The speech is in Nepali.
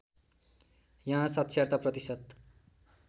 यहाँ साक्षरता प्रतिशत